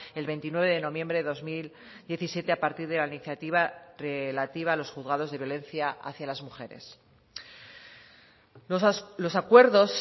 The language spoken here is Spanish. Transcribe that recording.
el veintinueve de noviembre de dos mil diecisiete a partir de la iniciativa relativa a los juzgados de violencia hacia las mujeres los acuerdos